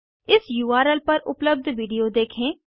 इस उर्ल पर उपलब्ध विडिओ देखें